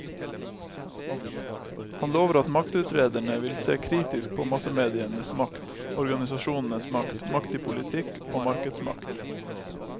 Han lover at maktutrederne vil se kritisk på massemedienes makt, organisasjonenes makt, makt i politikk og markedsmakt.